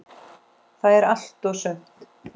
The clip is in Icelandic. Það er allt og sumt.